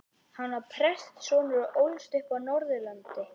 Hann var prestssonur og ólst upp á Norðurlandi.